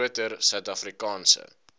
groter suid afrikaanse